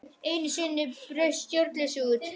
Enn einu sinni braust stjórnleysið út.